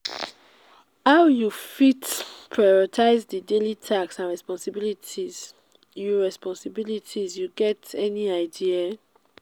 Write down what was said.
how you fit prioritize di daily tasks and responsibilities you responsibilities you get any idea?